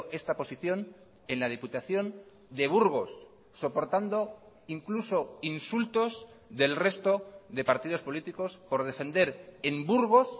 esta posición en la diputación de burgos soportando incluso insultos del resto de partidos políticos por defender en burgos